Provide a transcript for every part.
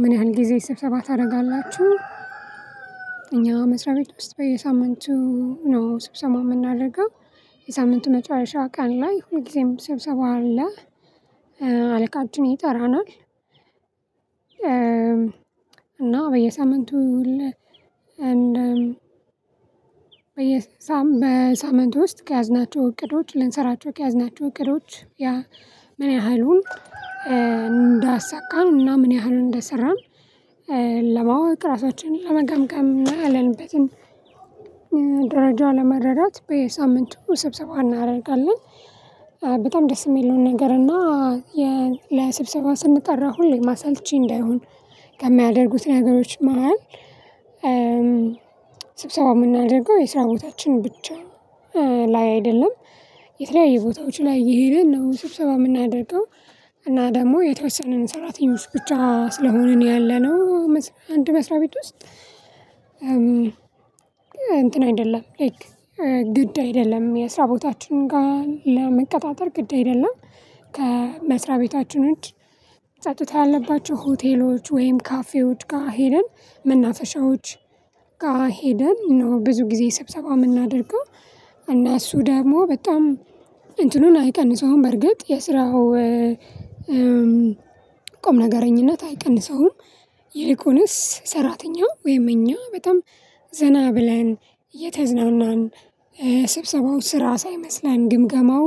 ምን ያህል ጊዜ ስብሰባ ታደርጋላቹ? እኛ መስሪያ ቤት ውስጥ በየሳምንቱ ነው ስብሰባ የምናደርገው የሳምንቱ መጨረሻ ቀን ላይ ሁልጊዜም ስብሰባ አለ። አለቃችን ይጠራናል። እና በየሳምንቱ። በየ በሳምንት ውስጥ ከያዝናቸው እቅዶች ልንሰራቸው ከያዝናቸው እቅዶች። ምን ያህሉን እንዳሳካን እና ምን ያህሉን እንደሰራን። ለማወቅ ራሳችንን ለመገምገም እና ያለንበትን ለመረዳት በየሳምንቱ ስብሰባ እናደርጋለን። በጣም ደስ የሚለውን ነገር እና ለስብሰባ ስንጠራ ሁሌ አሰልቺ እንዳይሆን ከማያደርጉት ነገሮች መሃል። ስብሰባ የምናደርገው የስራ ቦታችን ብቻ ላይ አይደለም። የተለያየ ቦታዎች ላይ እየሄድን ነው ስብሰባ የምናደርገው። እና ደግሞ የተወሰነንን ሰራተኞች ብቻ ስለሆንን ያለነው። አንድ መስሪያ ቤት ውስጥ እንትን አይደለም ላይክ ግድ አይደለም የስራ ቦታችን ጋር ለመቀጣጠር ግድ አይደለም። ከ መስሪያ ቤት ቤታችን ውጪ ጸጥታ ያለባቸው ሆቴሎች ወይም ካፌዎች ጋር ሄደን መናፈሻዎች ጋር ሄደን ነው ብዙ ጊዜ ስብሰባ የምናደርገው። እና እሱ ደግሞ በጣም እንትኑን አይቀንሰውም በርግጥ የስራው ቁምነገርኝነት አይቀንሰውም። ይልቁንስ ሰራተኛ ወይም እኛ በጣም ዘና ብለን እየተዝናናን ስብሰባው ስራ ሳይመስለን ግምገማው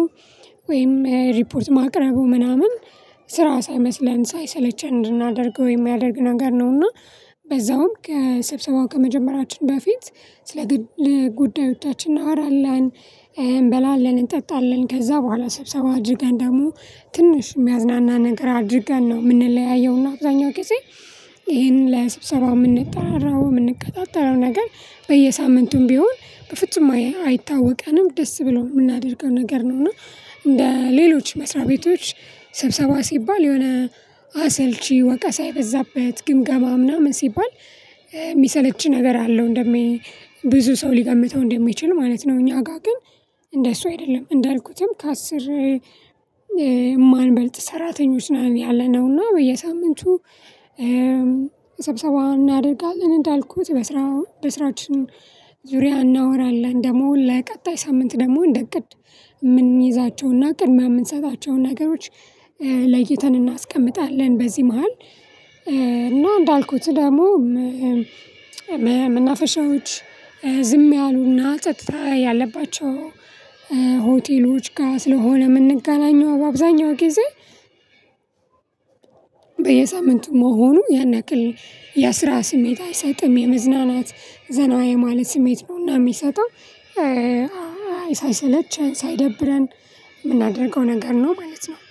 ወይም ሪፖርት ማቅረቡ ምናምን ስራ ሳይመስለን ሳይሰለቸን እንድናደርገው የሚያደርግ ነገር ነውና። በዛውም ከሰብሰባው ከመጀመራችን በፊት ስለ ግል ጉዳዮቻችን እናወራለን። እንበላለን እንጠጣለን ከዛ በኋላ ስብሰባ አድርገን ደግሞ ትንሽ የሚያዝናና ነገር አድርገን ነው የምንለያየውና። አብዛኛው ጊዜ ይሄንን ለስብሰባው የምንጠራረው የምንቀጣጠረው ነገር በየሳምንቱም ቢሆን በፍጹም አይታወቀንም ደስ ብሎን የምናደርገው ነገር ነው። እና እንደ ሌሎች መስሪያ ቤቶች ሰብሰባ ሲባል የሆነ አሰልቺ ወቀሳ የበዛበት ግምገማ ምናምን ሲባል የሚሰለች ነገር አለው እንደ ሚ ብዙ ሰው ሊገምተው እንደሚችል ማለት ነው። እኛ ጋር ግን እንደሱ አይደለም። እንዳልኩትም ከአስር የማንበልጥ ሰራተኞች ነው ያለነው። እና በየሳምንቱ ስብሰባ እናደርጋለን እንዳልኩት በስራ በስራችን ዙሪያ እናወራለን ደግሞ ለቀጣይ ሳምንት ደግሞ እንደ እቅድ የምንይዛቸውና ቅድሚያ የምንሰጣቸውን ነገሮች ለይተን እናስቀምጣለን። በዚህ መሃል እና እንዳልኩት ደግሞ መናፈሻዎች ዝም ያሉና ጸጥታ ያለባቸው ሆቴሎች ጋር ስለሆነ የምንገናኘው በአብዛኛው ጊዜ በየሳምንቱ መሆኑ ያን ያክል የስራ ስሜት አይሰጥም የመዝናናት ዘና የማለት ስሜት ነውና የሚሰጠው። ሳይሰለቸን ሳይደብረን የምናደርገው ነገር ነው ማለት ነው